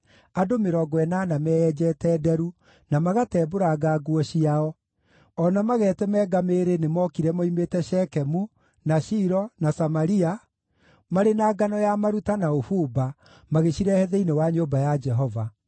andũ mĩrongo ĩnana meyenjete nderu, na magatembũranga nguo ciao, o na magetemanga mĩĩrĩ nĩmookire moimĩte Shekemu, na Shilo, na Samaria, marĩ na ngano ya maruta na ũbumba, magĩcirehe thĩinĩ wa nyũmba ya Jehova.